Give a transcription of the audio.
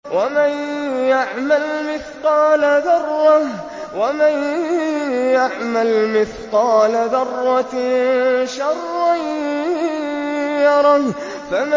وَمَن يَعْمَلْ مِثْقَالَ ذَرَّةٍ شَرًّا يَرَهُ